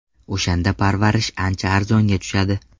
O‘shanda parvarish ancha arzonga tushadi.